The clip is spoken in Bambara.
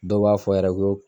Dɔw b'a fɔ yɛrɛ ko.